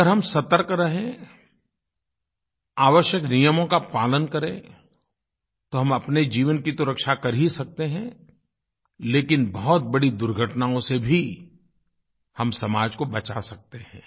अगर हम सतर्क रहें आवश्यक नियमों का पालन करें तो हम अपने जीवन की रक्षा तो कर ही सकते हैं लेकिन बहुत बड़ी दुर्घटनाओं से भी हम समाज को बचा सकते हैं